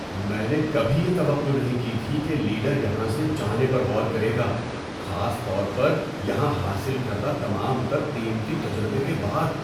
میں نے کبھی یہ توقع نہیں کی تھی کہ لیڈر یہاں سے جانے پر غور کرے گا، خاص طور پر یہاں حاصل کردہ تمام تر قیمتی تجربے کے بعد۔